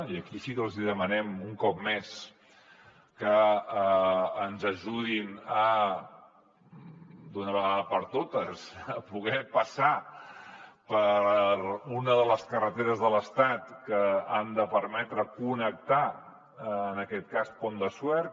i aquí sí que els demanem un cop més que ens ajudin d’una vegada per totes a poder passar per una de les carreteres de l’estat que ha de permetre connectar en aquest cas el pont de suert